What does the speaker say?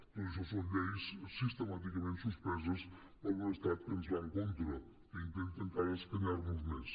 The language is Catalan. tot això són lleis sistemàticament suspeses per un estat que ens va en contra que intenta encara escanyar nos més